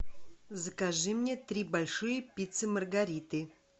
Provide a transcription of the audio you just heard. закажи мне три большие пиццы маргариты